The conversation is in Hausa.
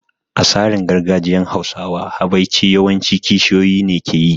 A tsarin gargajiyan Hausawa, habaici yawan ci kishiyoyi ne ke yi